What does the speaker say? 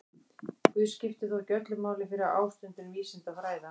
Guð skipti þó ekki öllu máli fyrir ástundun vísinda og fræða.